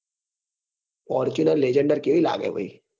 fortuner legender કેવી લાગે ભાઈ